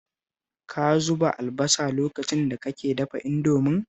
Ka zuba albasa lokacin da kake dafa Indomin?